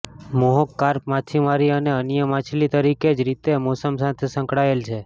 મોહક કાર્પ માછીમારી અને અન્ય માછલી તરીકે જ રીતે મોસમ સાથે સંકળાયેલ છે